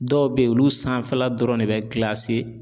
Dɔw bɛ yen olu sanfɛla dɔrɔn ne bɛ